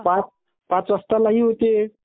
पाच वाजता लाइव्ह होत्ये...